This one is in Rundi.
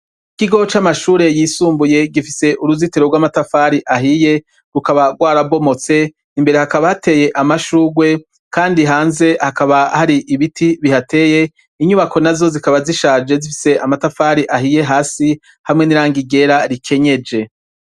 Ikigo c'amashure y'isumbuye gifise uruzitiro rw'amatafari ahiye, rukaba rwarabomotse, imbere hakaba hateye amashurwe, kandi hanze hakaba hari ibiti bihateye, inyubako nazo zikaba zishaje zifise amatafari ahiye hasi hamwe n'irangi ryera rikenyeje.